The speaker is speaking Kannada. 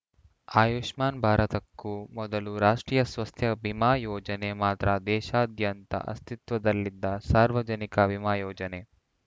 ಆಯುಷ್ಮಾನ್‌ ಭಾರತಕ್ಕೂ ಮೊದಲು ರಾಷ್ಟ್ರೀಯ ಸ್ವಾಸ್ಥ್ಯ ಬಿಮಾ ಯೋಜನೆ ಮಾತ್ರ ದೇಶಾದ್ಯಂತ ಅಸ್ತಿತ್ವದಲ್ಲಿದ್ದ ಸಾರ್ವಜನಿಕ ವಿಮಾ ಯೋಜನೆ